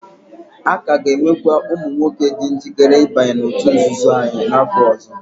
A ka ga-enwekwu ụmụ nwoke dị njikere ịbanye n'òtù nzuzo anyị n'afọ ọzọ.